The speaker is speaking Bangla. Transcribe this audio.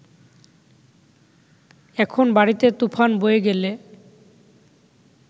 এখন বাড়িতে তুফান বয়ে গেলে